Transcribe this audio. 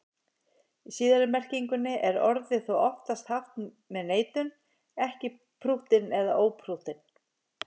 Í síðari merkingunni er orðið þó oftast haft með neitun, ekki prúttinn eða óprúttinn.